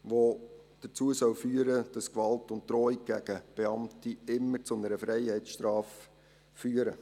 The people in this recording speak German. Diese soll dazu führen, dass Gewalt und Drohungen gegen Beamte immer zu einer Freiheitsstrafe führen.